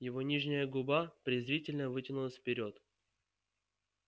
его нижняя губа презрительно вытянулась вперёд